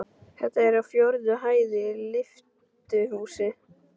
Þetta er á fjórðu hæð í lyftuhúsi.